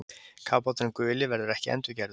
Kafbáturinn guli verður ekki endurgerður